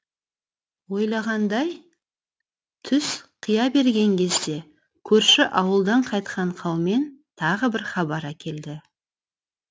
ойлағандай түс қия берген кезде көрші ауылдан қайтқан қаумен тағы бір хабар әкелді